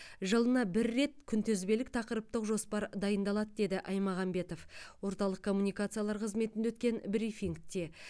жылына бір рет күнтізбелік тақырыптық жоспар дайындалады деді аймағамбетов орталық коммуникациялар қызметінде өткен брифингте